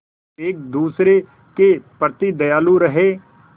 एक दूसरे के प्रति दयालु रहें